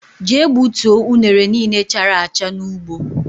Jee gbutuo unere niile chárá acha n' ụgbọ!!